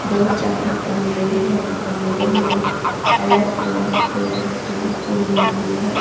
दो चार गमले हैं गमले में अलग अलग कलर की फूल लगी है।